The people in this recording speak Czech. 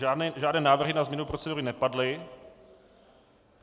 Žádné návrhy na změnu procedury nepadly.